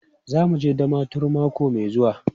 Za mu je Damaturu mako mai zuwa.